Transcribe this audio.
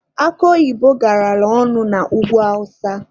Akụ oyibo garala ọnụ na ugwu awụsa.